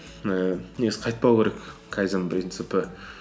ііі негізі қайтпау керек кайдзен принципі